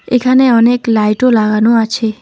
এখানে অনেক লাইটও লাগানো আছে।